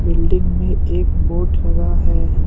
Building में एक board लगा है।